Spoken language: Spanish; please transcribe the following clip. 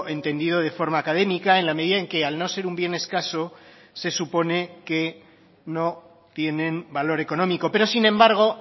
entendido de forma académica en la medida en que al no ser un bien escaso se supone que no tienen valor económico pero sin embargo